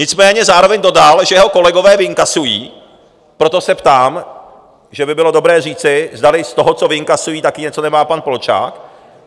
Nicméně zároveň dodal, že jeho kolegové vyinkasují, proto se ptám, že by bylo dobré říci, zdali z toho, co vyinkasují, taky něco nemá pan Polčák.